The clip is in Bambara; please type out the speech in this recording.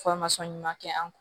ɲuman kɛ an kun